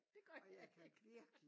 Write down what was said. Det gør jeg ikke